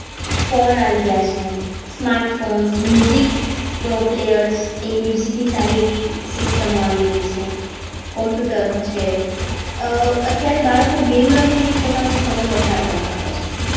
Phone આવી ગયા છે smart phone music player એની music સારી એવી સિસ્ટમો આવી ગઈ છે. computer છે અત્યારે બાળકો game રમી ને પોતા નો સમય પસાર કરતા હોય છે.